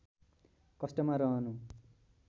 कष्टमा रहनु